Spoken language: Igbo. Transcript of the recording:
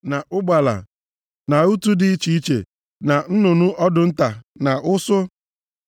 na ụgbala, na utù dị iche iche, na nnụnụ ọdụ nta, na ụsụ.